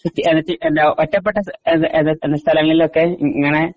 ഒറ്റപ്പെട്ട സ്ഥലങ്ങളിൽ ഒക്കെ ഇങ്ങനെ